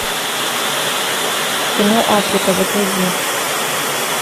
кино африка загрузи